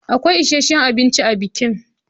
Akwai isheshin abinci a bikin.